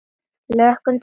Hlökkum til að sjá ykkur.